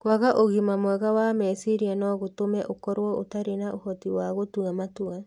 Kwaga ũgima mwega wa meciria no gũtũme ũkorũo ũtarĩ na ũhoti wa gũtua matua.